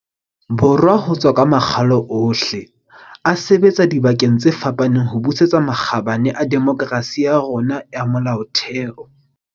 Borwa ho tswa ka makgalo ohle, a sebetsa dibakeng tse fapaneng ho busetsa makgabane a demokerasi ya rona ya molaotheo.